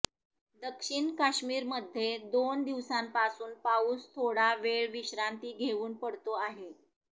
दक्षिण काश्मीरमध्ये दोन दिवसांपासून पाऊस थोडा वेळ विश्रांती घेऊन पडतो आहे